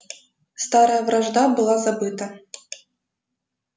старая вражда была забыта